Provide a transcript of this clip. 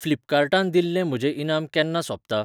फ्लिपकार्टान दिल्लें म्हजें इनाम केन्ना सोंपता?